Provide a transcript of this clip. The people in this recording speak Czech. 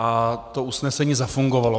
a to usnesení zafungovalo.